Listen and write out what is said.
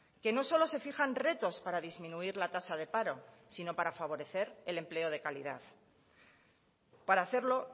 que no solo se fijan retos para disminuir la tasa de paro sino para favorecer el empleo de calidad para hacerlo